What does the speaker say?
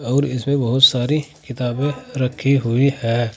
और इसमें बहुत सारी किताबें रखी हुई है।